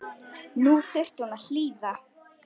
Nú þyrfti hún að hlýða.